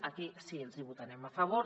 això sí que els hi votarem a favor